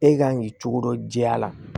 E kan k'i cogo dɔ jɛya